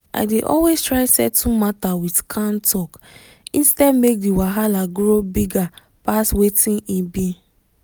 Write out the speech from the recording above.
i dey always try settle matter with calm talk instead make the wahala grow bigger pass wetin e be.